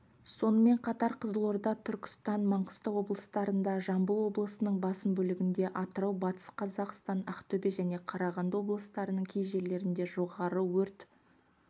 сонымен қатар қызылорда түркістан маңғыстау облыстарында жамбыл облысының басым бөлігінде атырау батыс қазақстан ақтөбе және қарағанды облыстарының кей жерлерінде жоғары өрт